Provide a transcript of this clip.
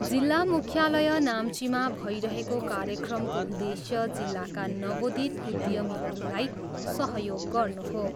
जिल्ला मुख्यालय नाम्चीमा भइरहेको कार्यक्रमको उद्देश्य जिल्लाका नवोदित उद्यमीहरूलाई सहयोग गर्नु हो।